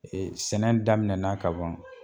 sɛnɛ daminɛna ka ban